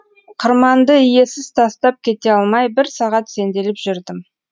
қырманды иесіз тастап кете алмай бір сағат сенделіп жүрдім